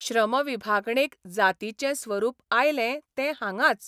श्रमविभागणेक जातींचें स्वरूप आयलें तें हांगांच.